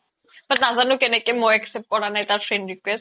নাজানো কেনেকে মই accept কৰা নাই তাৰ friend request